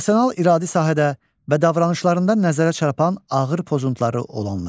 Emosional iradi sahədə və davranışlarında nəzərə çarpan ağır pozuntuları olanlar.